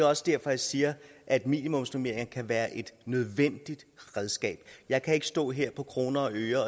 også derfor jeg siger at minimumsnormeringer kan være et nødvendigt redskab jeg kan ikke stå her på kroner